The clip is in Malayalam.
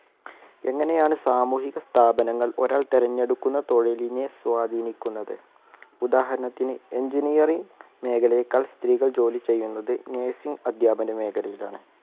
എങ്ങനെയാണ് സാമൂഹിക സ്ഥാപനങ്ങൾ ഒരാൾ തിരഞ്ഞെടുക്കുന്ന തൊഴിലിനെ സ്വാധിനിക്കുന്നത് ഉദാഹരണത്തിന് engineering മേഖലയെക്കാൾ സ്ത്രീകൾ ജോലി ചെയ്യുന്നത് nursing അദ്ധ്യാപന മേഖലയിലാണ്